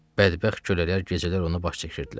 Bədbəxt qullar gecələr onu baş çəkirdilər.